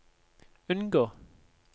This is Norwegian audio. unngå